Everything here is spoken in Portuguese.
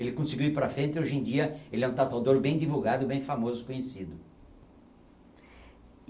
Ele conseguiu ir para frente e hoje em dia ele é um tatuador bem divulgado, e bem famoso, conhecido.